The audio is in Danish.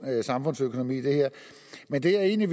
samfundsøkonomi i det her men det er egentlig